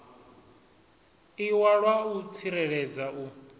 iwalwa a u tsireledza u